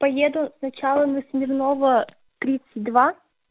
поеду сначала на смирнова тридцать два